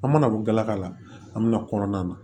An mana bɔ galaka la an mi na kɔnɔna na